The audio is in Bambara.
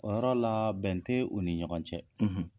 O yɔrɔ la bɛn te u ni ɲɔgɔn cɛ.